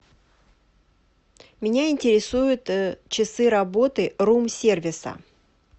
меня интересуют часы работы рум сервиса